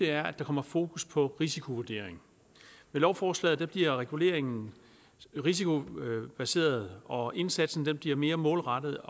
er at der kommer fokus på risikovurdering med lovforslaget bliver reguleringen risikobaseret og indsatsen bliver mere målrettet